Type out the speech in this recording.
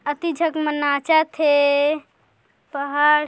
अति झक मन नाचत हे पहाड़--